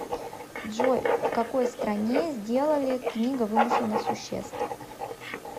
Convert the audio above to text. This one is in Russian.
джой в какой стране сделали книга вымышленных существ